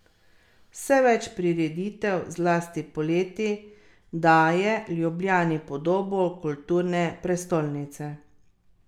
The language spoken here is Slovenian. Vse več prireditev, zlasti poleti, daje Ljubljani podobo kulturne prestolnice.